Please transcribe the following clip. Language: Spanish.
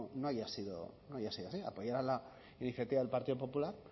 no haya sido así apoyar a la iniciativa del partido popular